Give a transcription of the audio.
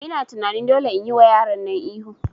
Ina tunani dole nayi wa yaran nan ihu